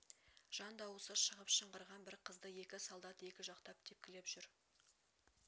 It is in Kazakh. жан дауысы шығып шыңғырған бір қызды екі солдат екі жақтап тепклеп жүр